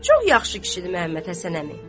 Çox yaxşı kişidir Məhəmməd Həsən əmi.